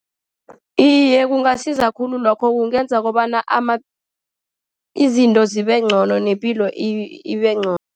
Iye, kungasiza khulu lokho. Kungenza kobana izinto zibe ngcono, nepilo ibe ngcono.